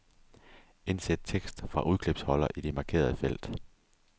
Indsæt tekst fra udklipsholder i det markerede felt.